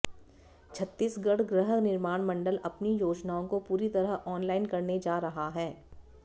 छत्तीसगढ गृह निर्माण मण्डल अपनी योजनाओं को पूरी तरह ऑनलाईन करने जा रहा है